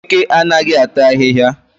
Eke anaghị ata ahịhịa